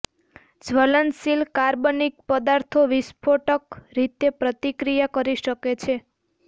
જ્વલનશીલ કાર્બનિક પદાર્થો વિસ્ફોટક રીતે પ્રતિક્રિયા કરી શકે છે